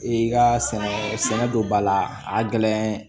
I ka sɛnɛ don ba la a gɛlɛn